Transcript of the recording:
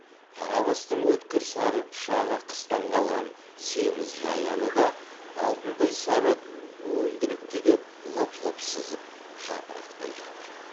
қарабастың өткір сары пышағы қыстан қалған семіз жаяны да алтындай сары уілдірікті де лып лып сызып жапырақтай жатыр